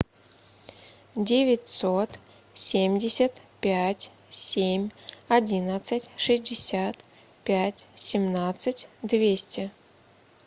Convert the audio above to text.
девятьсот семьдесят пять семь одиннадцать шестьдесят пять семнадцать двести